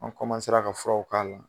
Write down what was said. An ka furaw k'a la.